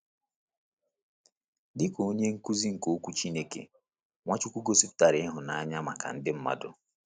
Dị ka onye nkuzi nke Okwu Chineke, Nwachukwu gosipụtara ịhụnanya maka ndị mmadụ.